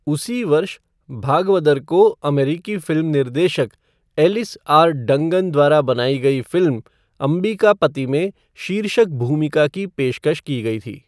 उसी वर्ष, भागवदर को अमेरिकी फिल्म निर्देशक एलिस आर. डंगन द्वारा बनाई गई फिल्म अंबिकापति में शीर्षक भूमिका की पेशकश की गई थी।